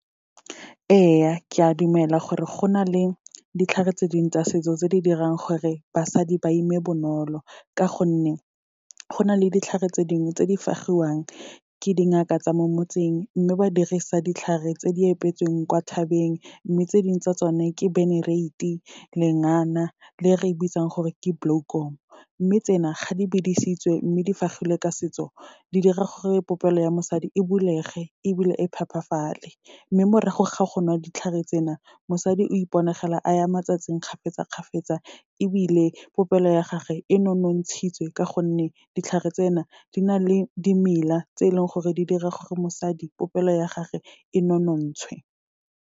Ee, ke a dumela gore go na le ditlhare tse dingwe tsa setso tse di dirang gore basadi ba ime bonolo, ka gonne go na le ditlhare tse dingwe tse di fagiwang ke dingaka tsa mo motseng, mme ba dirisa ditlhare tse di epetsweng kwa thabeng. Mme tse dingwe tsa tsone, ke benerate, lengana le e re e bitsang gore ke bloekom. Mme tsena, ga di bidisitswe mme di fagilwe ka setso, di dira gore popelo ya mosadi, e bulege ebile e phepafale. Mme morago ga go nwa ditlhare tsena, mosadi o iponagela a ya matsatsing kgafetsa-kgafetsa ebile popelo ya gage e nonontshitswe ka gonne, ditlhare tsena di na le dimela tse leng gore, di dira gore mosadi popelo ya gage e nonontshwe.